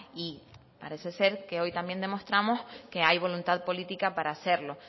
y parece ser que hoy también demostramos que hay voluntad política para hacerlo